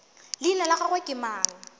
leina la gagwe ke mang